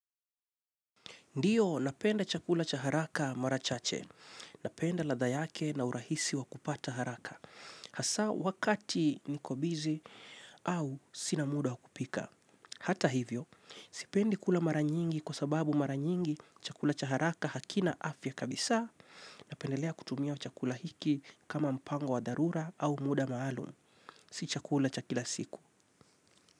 Ndiyo napenda chakula cha haraka mara chache. Napenda ladha yake na urahisi wa kupata haraka. Hasa wakati niko busy au sina muda wa kupika. Hata hivyo, sipendi kula mara nyingi kwa sababu mara nyingi chakula cha haraka hakina afya kabisa. Napendelea kutumia chakula hiki kama mpango wa dharura au muda maalum. Si chakula cha kila siku.